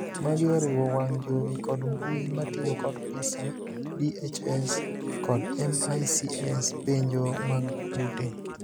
Magi oriwo wang' jowi kod mbuyio matiyo kod PISA, DHS kod MICS penjo mag ute.